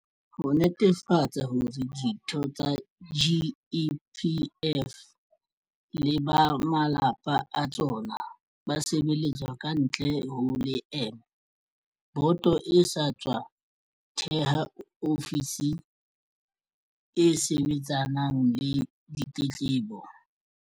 Ho netefatsa hore ditho tsa GEPF le ba malapa a tsona ba sebeletswa kantle ho leeme, boto e sa tswa theha ofisi e sebetsanang le ditletlebo.